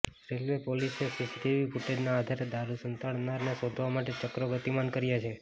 railway પોલીસે CCTV ફૂટેજના આધારે દારૂ સંતાડનારને શોધવા માટે ચક્રો ગતિમાન કર્યાં છે